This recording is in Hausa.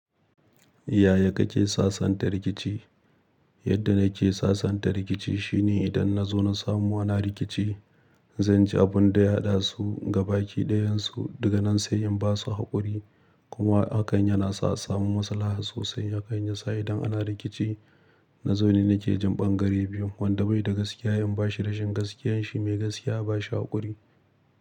Yaya kake sasanta rikici? Yadda nake sasanta rikici shine idan na zo na samu ana rikici, zan ji abun da ya haɗasu gabaki ɗayan su daga nan sai in basu haƙuri. Kuma hakan yana sa a samu masalaha sosai, hakan ya sa idan ana rikici. Na zo ne nake jin ɓangare biyu, wanda bai da gaskiya in bashi rashin gaskiyar shi mai gaskiya a ba shi haƙuri.